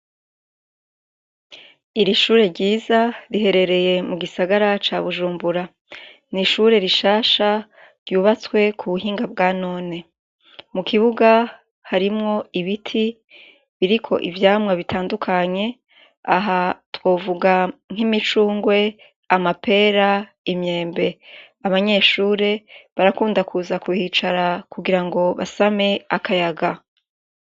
Iri shure ryiza rihererye mu gisagara ca Bujumbura. Ni ishure rishasha ryubatswe ku buhinga bwa none. Mu kibuga harimwo ibiti, biriko ivyamwa bitandukanye, aha twovuga nk'imicungwe, amapera, imyembe. Abanyeshure barakunda kuza kuhicara kugira ngo basame akayaga.